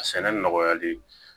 A sɛnɛ nɔgɔyali